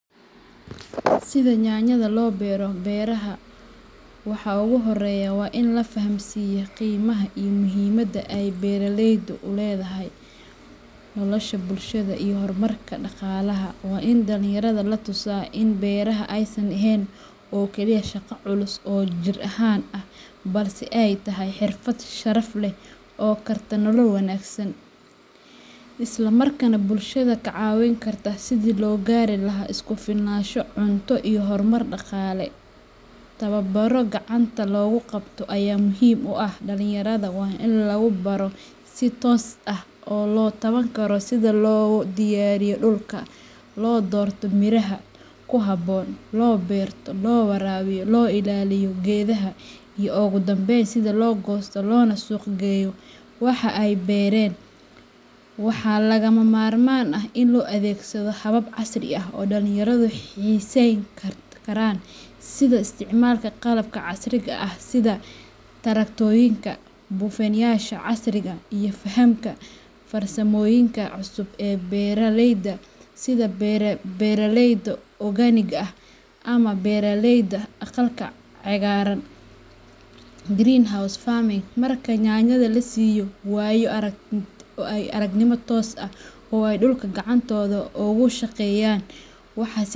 Si yanyada loo bero beraha, waxa ugu horreeya waa in la fahamsiiyo qiimaha iyo muhiimadda ay beeraleyntu u leedahay nolosha bulshada iyo horumarka dhaqaalaha. Waa in dhalinyarada la tusaa in beeraha aysan ahayn oo keliya shaqo culus oo jir ahaan ah, balse ay tahay xirfad sharaf leh oo karta nolol wanaagsan, isla markaana bulshada ka caawin karta sidii loo gaari lahaa isku filnaansho cunto iyo horumar dhaqaale. Tababaro gacanta lagu qabto ayaa muhiim u ah; dhalinyarada waa in lagu baro si toos ah oo la taaban karo sida loo diyaariyo dhulka, loo doorto miraha ku habboon, loo beero, loo waraabiyo, loo ilaaliyo geedaha, iyo ugu dambeyn sida loo goosto loona suuq geeyo waxa ay beereen. Waxaa lagama maarmaan ah in loo adeegsado habab casri ah oo ay dhalinyaradu xiisayn karaan, sida isticmaalka qalabka casriga ah sida taraktooyinka, buufiyeyaasha casriga ah iyo fahamka farsamooyinka cusub ee beeralayda sida beeraleyda organicga ah ama beeraleyda aqalka cagaaran ee greenhouse farming. Marka yanyada la siiyo waayo aragnimo toos ah oo ay dhulka gacantooda ugu shaqeeyaan.